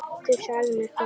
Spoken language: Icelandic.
Þú sagðir mér það.